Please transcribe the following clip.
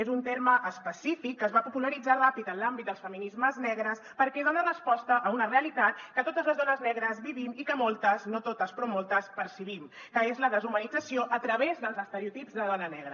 és un terme específic que es va popularitzar ràpid en l’àmbit dels feminismes negres perquè dona resposta a una realitat que totes les dones negres vivim i que moltes no totes però moltes percebem que és la deshumanització a través dels estereotips de dona negra